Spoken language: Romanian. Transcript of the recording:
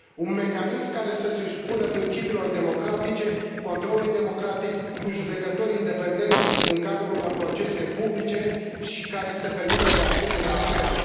Un mecanism care să se supună principiilor democratice, controlului democratic cu judecători independenți în cadrul unor procese publice și care să permită, de asemenea, apelul.